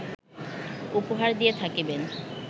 উপহার দিয়া থাকিবেন